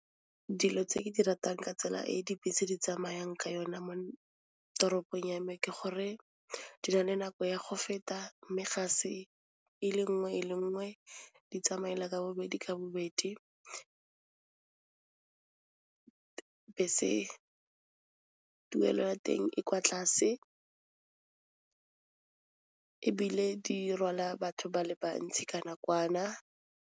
Dilo tse ke di ratang ka tsela e e dibese di tsamayang ka yona mo toropong ya me ke gore, di na le nako ya go feta mme ga se e le nngwe e le nngwe, di tsamaela ka bobedi ka bobedi. Bese tuelelo ya teng e kwa tlase ebile di rwala batho ba le bantsi ka nakwana.